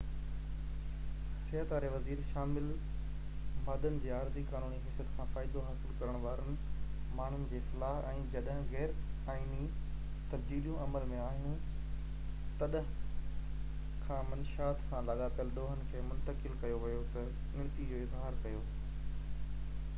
صحت واري وزير شامل مادن جي عارضي قانوني حيثيت کان فائدو حاصل ڪرڻ وارن ماڻهن جي فلاح ۽ جڏهن کان غير آئيني تبديليون عمل ۾ آهيون تڏهن کان منشيات سان لاڳاپليل ڏوهن کي منتقل ڪيو ويو تي ڳڻتي جو اظهار ڪيو